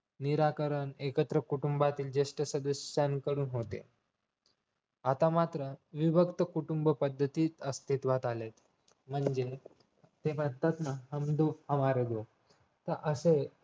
निराकार एकत्र कुटुंबातील जेष्ठ सदस्यांकडून होते आता मात्र विभक्त कुटुंब पद्धती अस्तित्वात आलेत म्हणजेच ते म्हणतात ना हम दो हमारे दो तर असे